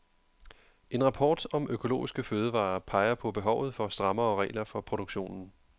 En rapport om økologiske fødevarer peger på behovet for strammere regler for produktionen.